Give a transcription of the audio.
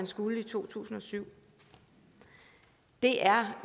skulle i to tusind og syv det er